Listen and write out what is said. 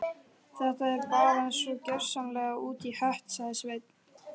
Þetta er bara svo gjörsamlega út í hött sagði Svein